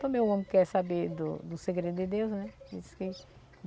Também o homem quer saber do do segredo de Deus, né? Isso que